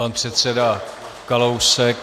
Pan předseda Kalousek.